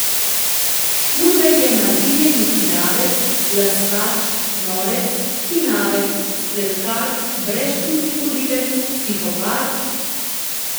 Šturbej je maziljeni hinavec, laskač, norec, hinavec, spletkar, brezčutni morilec, psihopat ...